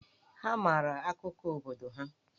Ha maara akụkọ obodo ha.